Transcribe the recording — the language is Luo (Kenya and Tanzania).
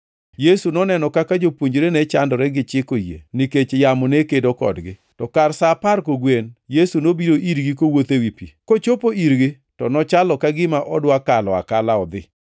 Yesu noneno kaka jopuonjrene ne chandore gi chiko yie, nikech yamo ne kedo kodgi. To kar sa apar kogwen, Yesu nobiro irgi kowuotho ewi pi. Kochopo irgi to nochalo ka gima odwa kalo akala odhi,